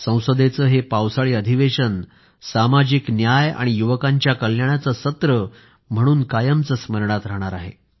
संसदेचं हे पावसाळी अधिवेशन सामाजिक न्याय आणि युवकांच्या कल्याणाचे सत्र म्हणून कायमचे स्मरणात राहणार आहे